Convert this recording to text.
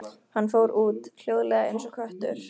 Hann fór út, hljóðlega eins og köttur.